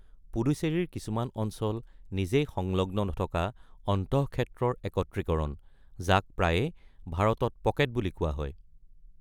পুডুচেৰীৰ কিছুমান অঞ্চল নিজেই সংলগ্ন নথকা অন্তঃক্ষেত্ৰৰ একত্ৰীকৰণ, যাক প্ৰায়ে ভাৰতত "পকেট" বুলি কোৱা হয়।